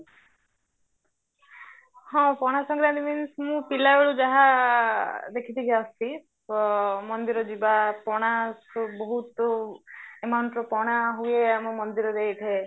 ହଁ ପଣାଶଙ୍କାରାନ୍ତି means ମୁଁ ପିଲା ବେଳୁ ଯାହା ଦେଖି ଦେଖି ଆସୁଚି ତ ମନ୍ଦିର ଯିବା ପଣାକୁ ବହୁତ amountର ପଣା ହୁଏ ଆମ ମନ୍ଦିରରେ ହେଇଥାଏ